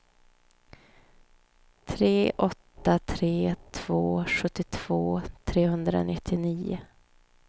tre åtta tre två sjuttiotvå trehundranittionio